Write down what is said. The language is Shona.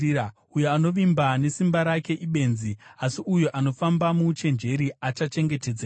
Uyo anovimba nesimba rake ibenzi, asi uyo anofamba muuchenjeri achachengetedzeka.